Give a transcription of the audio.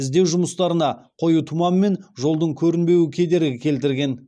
іздеу жұмыстарына қою тұман мен жолдың көрінбеуі кедергі келтірген